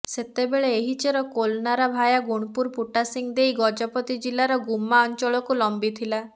ସେତେବେଳେ ଏହି ଚେର କୋଲନରା ଭାୟା ଗୁଣପୁର ପୁଟାସିଂ ଦେଇ ଗଜପତି ଜିଲ୍ଲାର ଗୁମ୍ମା ଅଞ୍ଚଳକୁ ଲମ୍ବିଥିଲା